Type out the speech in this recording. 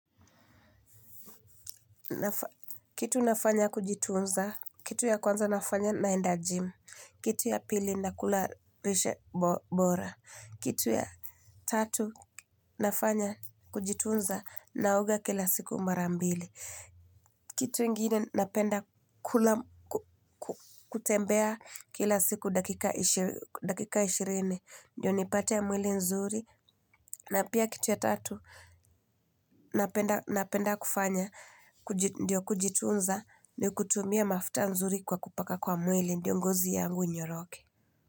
Kitu nafanya kujitunza, kitu ya kwanza nafanya naenda jim, kitu ya pili na kula lishe bora, kitu ya tatu nafanya kujitunza naoga kila siku mara mbili. Kitu ingine napenda kutembea kila siku dakika ishirini. Ndiyo nipate mwili nzuri. Na pia kitu ya tatu napenda kufanya. Ndiyo kujitunza ni kutumia mafuta nzuri kwa kupaka kwa mwili. Ndiyo ngozi yangu inyoroke.